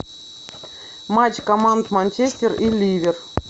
матч команд манчестер и ливер